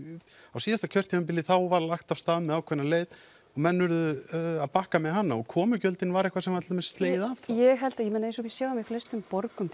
á síðasta kjörtímabili var lagt af stað með ákveðna leið menn urðu að bakka með hana og komugjöldin voru eitthvað sem var til dæmis slegið af ég held eins og við sjáum í flestum borgum